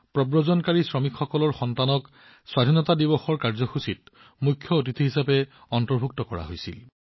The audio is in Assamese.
প্ৰব্ৰজনকাৰী শ্ৰমিকসকলৰ সন্তানক পঞ্চায়তত স্বাধীনতা দিৱস কাৰ্যসূচীত মুখ্য অতিথি হিচাপে অন্তৰ্ভুক্ত কৰা হৈছিল